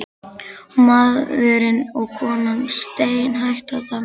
Og maðurinn og konan steinhættu að dansa.